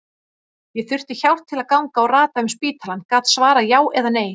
Ég þurfti hjálp til að ganga og rata um spítalann, gat svarað já eða nei.